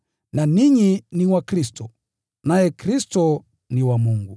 na ninyi ni wa Kristo, naye Kristo ni wa Mungu.